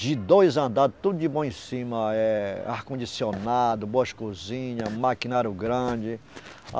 De dois andares, tudo de bom em cima, é ar-condicionado, boas cozinhas, maquinário grande.